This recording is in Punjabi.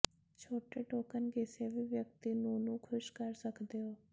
ਛੋਟੇ ਟੋਕਨ ਕਿਸੇ ਵੀ ਵਿਅਕਤੀ ਨੂੰ ਨੂੰ ਖੁਸ਼ ਕਰ ਸਕਦੇ ਹੋ